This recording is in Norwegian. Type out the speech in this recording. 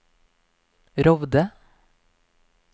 Rovde